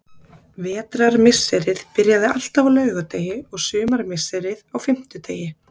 Vetrarmisserið byrjaði alltaf á laugardegi og sumarmisserið á fimmtudegi.